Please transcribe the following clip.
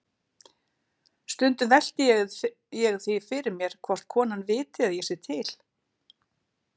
Stundum velti ég fyrir mér hvort konan viti að ég sé til.